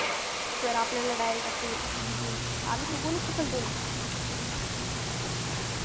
Sir आपल्याला direct असे मनतील आलेच उगवलेच कशाला तुम्ही?